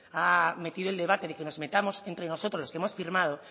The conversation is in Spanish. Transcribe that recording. ha metido el debate que nos metamos entre nosotros que hemos firmado